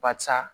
Barisa